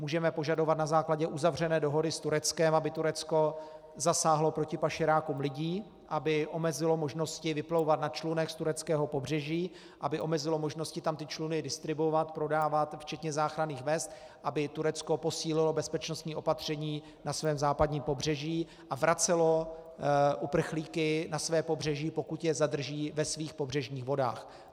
Můžeme požadovat na základě uzavřené dohody s Tureckem, aby Turecko zasáhlo proti pašerákům lidí, aby omezilo možnosti vyplouvat na člunech z tureckého pobřeží, aby omezilo možnosti tam ty čluny distribuovat, prodávat, včetně záchranných vest, aby Turecko posílilo bezpečnostní opatření na svém západním pobřeží a vracelo uprchlíky na své pobřeží, pokud je zadrží, ve svých pobřežních vodách.